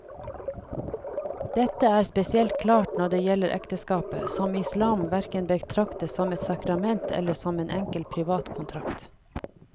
Dette er spesielt klart når det gjelder ekteskapet, som islam hverken betrakter som et sakrament eller som en enkel privat kontrakt.